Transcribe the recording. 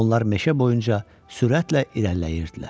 Onlar meşə boyunca sürətlə irəliləyirdilər.